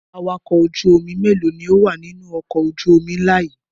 Awakọ̀ ojú-omi mélòó ni ó wà nínú ọkọ̀ ojú-omi ńlá yìí?